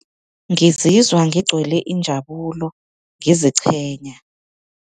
Ngizizwa ngigcwele injabulo, ngiziqhenya.